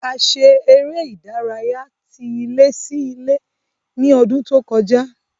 A ṣe eré ìdárayá tí ilé sí ilé ní ọdún tó kọjá